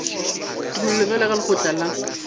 tumelelo bjalo ka lekgotla la